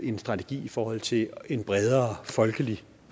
en strategi i forhold til en bredere folkelig